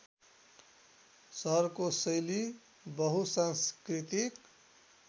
सहरको शैली बहुसांस्कृतिक